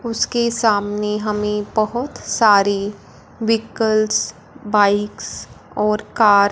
उसके सामने हमे बहोत सारी व्हीकल्स बाइक्स और कार --